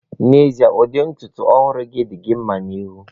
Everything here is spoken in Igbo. N'ezie, ụdị ntutu ọhụrụ gị di gị nma na ihu.